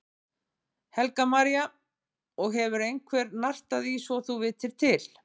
Helga María: Og hefur einhver nartað í svo þú vitir til?